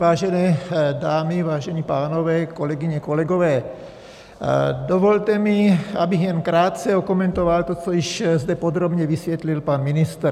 Vážené dámy, vážení pánové, kolegyně, kolegové, dovolte mi, abych jenom krátce okomentoval to, co již zde podrobně vysvětlil pan ministr.